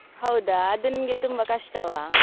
ಹೌದಾ! ಅದು ನಿಮ್ಗೆ ತುಂಬಾ ಕಷ್ಟವಾ?